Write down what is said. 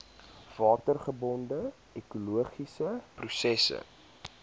watergebonde ekologiese prosesse